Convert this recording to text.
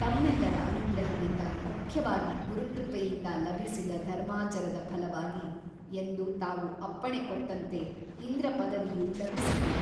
ತಮ್ಮೆಲ್ಲರ ಅನುಗ್ರಹದಿಂದ ಮುಖ್ಯವಾಗಿ ಗುರುಕೃಪೆಯಿಂದ ಲಭಿಸಿದ ಧರ್ಮಾಚರದ ಫಲವಾಗಿ ಎಂದು ತಾವು ಅಪ್ಪಣೆ ಕೊಟ್ಟಂತೆ ಇಂದ್ರಪದವಿಯು ಲಭಿಸಿತು.